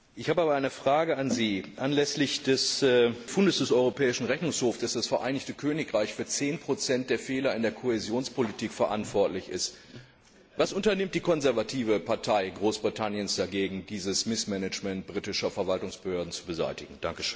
Ich habe aber eine Frage an Sie anlässlich des Befundes des Europäischen Rechnungshofs, dass das Vereinigte Königreich für 10 der Fehler in der Kohäsionspolitik verantwortlich ist Was unternimmt die konservative Partei Großbritanniens dagegen, dieses Missmanagement britischer Verwaltungsbehörden zu beseitigen?